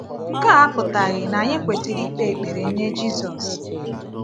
Nke a apụtaghị na anyị kwesịrị ikpe ekpere nye Jisus.